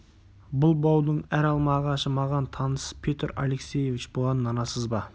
бұл баудың әр алма ағашы маған таныс петр алексеевич бұған нанасыз ба